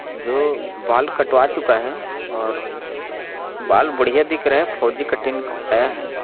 जो बाल कटावा चूका है और बाल बढ़िया दिख रहा है फोजी कटींग करवाया है।